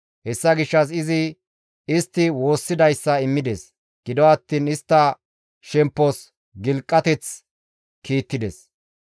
Hessa gishshas izi istti woossidayssa immides; gido attiin istta shemppos gilqateth kiittides.